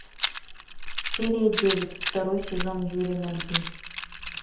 серия девять второй сезон юри на льду